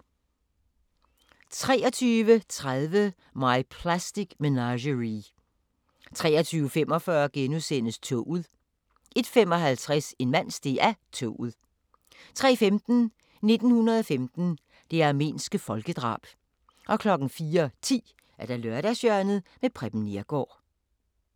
23:30: My Plastic Menagerie 23:45: Toget * 01:55: En mand steg af toget 03:15: 1915 – det armenske folkedrab 04:10: Lørdagshjørnet – Preben Neergaard